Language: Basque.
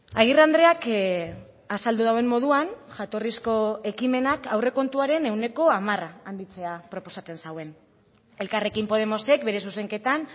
agirre andreak azaldu duen moduan jatorrizko ekimenak aurrekontuaren ehuneko hamar handitzea proposatzen zuen elkarrekin podemosek bere zuzenketan